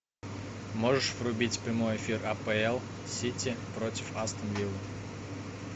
можешь врубить прямой эфир апл сити против астон вилла